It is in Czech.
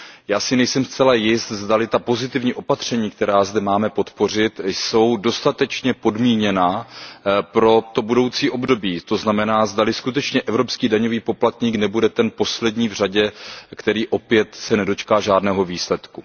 Já si nejsem zcela jist, zdali ta pozitivní opatření, která zde máme podpořit, jsou dostatečně podmíněna pro budoucí období, to znamená, zdali skutečně evropský daňový poplatník nebude ten poslední v řadě, který se opět nedočká žádného výsledku.